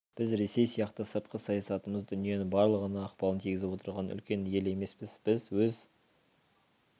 біз ресей сияқты сыртқы саясатымыз дүниенің барлығына ықпалын тигізіп отырған үлкен ел емеспіз біз өз